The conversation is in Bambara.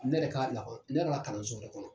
Ne yɛrɛ ka lakɔli ne yɛrɛ ka kalanso yɛrɛ kɔnɔ.